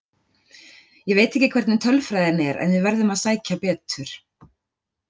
Ég veit ekki hvernig tölfræðin er en við verðum að sækja betur.